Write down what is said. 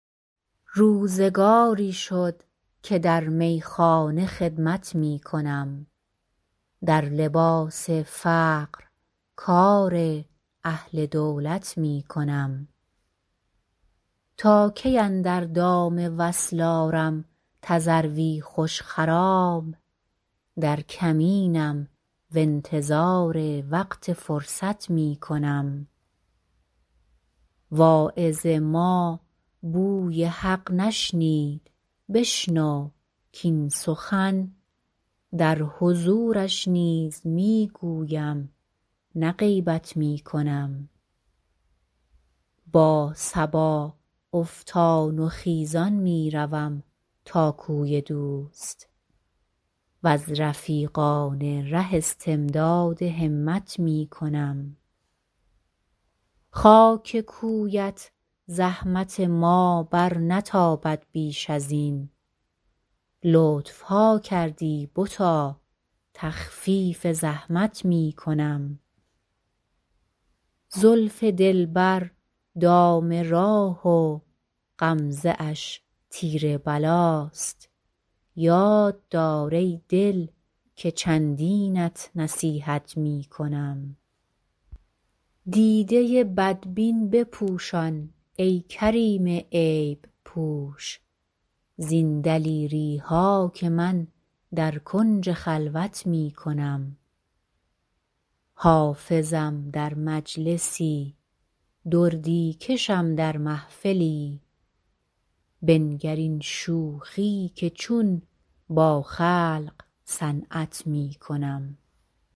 روزگاری شد که در میخانه خدمت می کنم در لباس فقر کار اهل دولت می کنم تا کی اندر دام وصل آرم تذروی خوش خرام در کمینم و انتظار وقت فرصت می کنم واعظ ما بوی حق نشنید بشنو کاین سخن در حضورش نیز می گویم نه غیبت می کنم با صبا افتان و خیزان می روم تا کوی دوست و از رفیقان ره استمداد همت می کنم خاک کویت زحمت ما برنتابد بیش از این لطف ها کردی بتا تخفیف زحمت می کنم زلف دلبر دام راه و غمزه اش تیر بلاست یاد دار ای دل که چندینت نصیحت می کنم دیده بدبین بپوشان ای کریم عیب پوش زین دلیری ها که من در کنج خلوت می کنم حافظم در مجلسی دردی کشم در محفلی بنگر این شوخی که چون با خلق صنعت می کنم